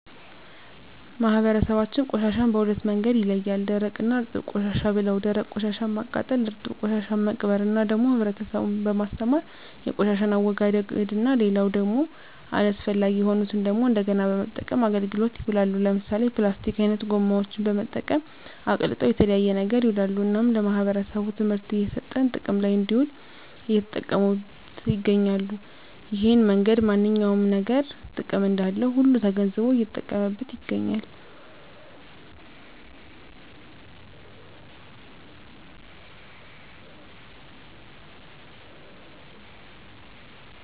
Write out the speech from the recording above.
ማህበረሰባችን ቆሻሻን በሁለት መንገድ ይለያል ደረቅ እና እርጥብ ቆሻሻ ብለው ደረቅ ቆሻሻን ማቃጠል እርጥብ ቆሻሻን መቅበር እና ደግሞ ህብረተሰቡን በማስተማር የቆሻሻን አወጋገድ እና ሌላው ደግሞ አስፈላጊ የሆኑትን ደግሞ እንደገና በመጠቀም አገልግሎት ይውላሉ ለምሳሌ ፕላስቲክ አይነት ጎማዎችን በመጠቀም አቅልጠው ለተለያየ ነገር ይውላሉ እናም ለማህበረሰቡ ትምህርት እየሰጠን ጥቅም ለይ እንድውል እየተጠቀሙት ይገኛሉ እሄን መንገድ ማንኛውም ነገር ጥቅም እንዳለው ሁሉ ተገንዝቦ እየተጠቀመበት ይገኛል